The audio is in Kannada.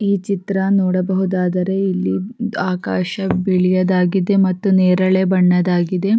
ಈ ಚಿತ್ರ ನೋಡಬಹುದಾದರೆ ಇಲ್ಲಿ ಆಕಾಶ ಬಿಳಿಯ ದಾಗಿದೆ ಮತ್ತು ನೇರಳೆ ಬಣ್ಣದ್ದಾಗಿದೆ.